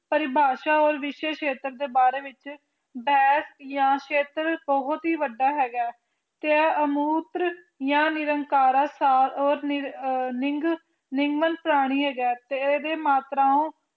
ਪ੍ਰਿਭਾਸ਼ਾ ਓਰ ਵਿਸ਼ੇ ਛੇਤਰ ਦੇ ਬਾਰੇ ਵਿੱਚ ਬੇਸ ਜਾ ਛੇਤਰ ਬਹੁਤ ਹੀ ਵੱਡਾ ਹੇਗਾ ਤੇ ਅਮੁਤਰ ਜਾ ਨਿੰਕਾਰ ਸਾਰ ਓ ਲਿੰਗ ਨਿੰਰਗ ਪ੍ਰਾਣੀ ਹੇਗਾ ਤੇ ਇਹਦੇ ਮਾਤਰਾਓ